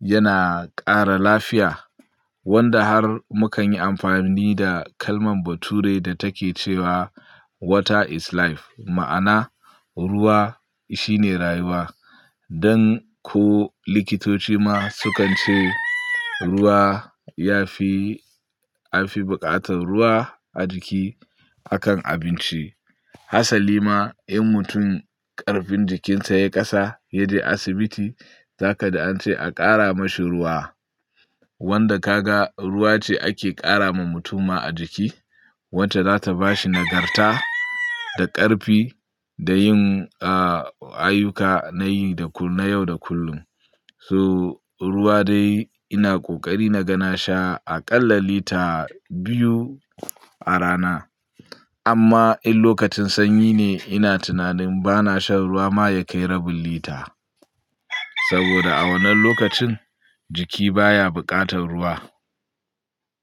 yana ƙara lafiya. Wanda har mukan yi amfani da kalman bature da take cewa "Water is life" ma'ana ruwa shi ne rayuwa. Dan ko likitoci ma sukan ce ruwa ya fi, an fi bukatar ruwa a jiki akan abinci. Hassali ma in mutum ƙarfin jikin sa ya yi kasa ya je asibiti, za ka ji an ce a ƙara mashi ruwa. Wanda ka ga ruwa ce ake ƙara ma mutum ma a jiki. Wacce za ta ba shi nagarta da ƙarfi da yin ayyuka na yi da kullum, na yau da kullum. To ruwa dai ina ƙoƙari na ga na sha aƙalla lita biyu a rana. Amma in lokacin sanyi ne ina tunanin ba na shan ruwa ma ya kai rabin lita. Saboda a wannan lokacin jiki baya buƙatar ruwa.